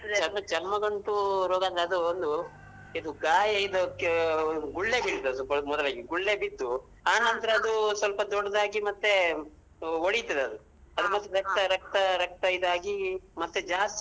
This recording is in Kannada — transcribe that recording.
ಚರ್ಮ ಚರ್ಮ ಗಂಟು ರೋಗ ಅಂದ್ರೆ ಅದೂ ಒಂದು ಇದೂ ಗಾಯ ಇದಕ್ಕೆಗುಳ್ಳೆ ಬೀಳ್ತದೆ ಮೂದಲವಾಗಿ, ಗುಳ್ಳೆ ಬಿದ್ದು ಅದೂ ಸ್ವಲ್ಪ ದೊಡ್ದಾಗಿ ಮತ್ತೇ ಒಡಿತದದು ಅದೂ ಮತ್ತೇ ರಕ್ತ ರಕ್ತ ರಕ್ತಾ.